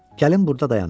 Gəlin burda dayanaq.